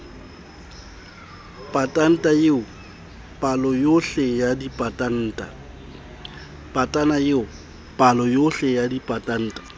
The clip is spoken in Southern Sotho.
patanta eo paloyohle ya dipatanta